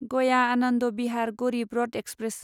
गया आनन्द बिहार गरिब रथ एक्सप्रेस